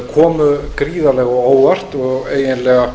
komu gríðarlega á óvart og eiginlega